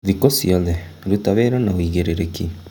Thikũ ciothe ruta wĩra na ũigĩrĩrĩki.